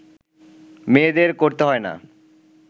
মেয়েদের করতে হয় না